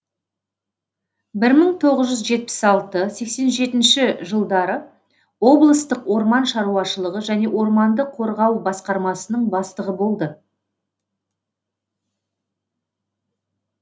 бір мың тоғыз жүз жетпіс алтыншы сексен жетінші жылдары облыстық орман шаруашылығы және орманды қорғау басқармасының бастығы болды